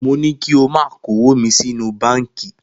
Mo ní kí o máa kówó mi sínú báńkì.